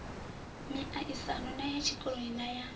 miaisano ya tshikoloni na ya